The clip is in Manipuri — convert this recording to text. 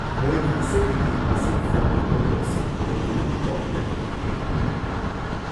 ꯃꯣꯏꯒꯤ ꯏꯁꯩꯗꯒꯤ ꯏꯁꯩ ꯐꯣꯡꯕ ꯈꯣꯠꯄ ꯑꯁꯤ ꯍꯧꯔꯛꯇꯨꯅ ꯆꯥꯎꯈꯠꯂꯛꯂꯤ꯫